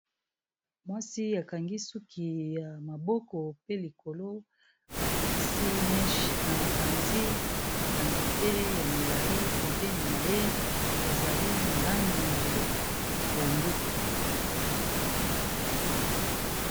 Mwasi akangi suki ya maboko pe likolo abakisi meche na mopanzi ba nzete ya milayi pembeni na ye ezali na langi ya pondu.